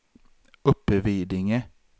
Uppvidinge